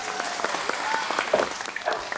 Þar ættu menn ekki að stunda landbúnað.